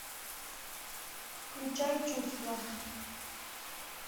включай чувства